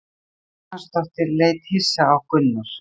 Kolbrún Guðjónsdóttir leit hissa á Gunnar.